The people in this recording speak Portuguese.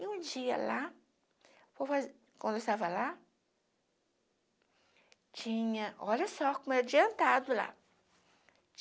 E um dia lá, quando quando eu estava lá, tinha... Olha só como era adiantado lá.